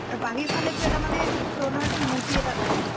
আৰু বাহিৰ ফালে তো এটা মানে stone ৰ এটা মূৰ্তি এটা দেখিলো